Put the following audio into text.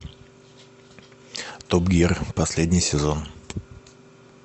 топ гир последний сезон